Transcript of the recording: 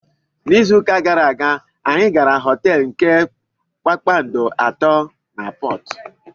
N'izu ụka gara aga, anyị gara họteelu nke kpakpando atọ na Portu.